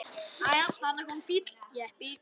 Þarna kom bíll, jeppi.